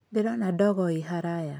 Ndĩrona ndogo ĩ haraya.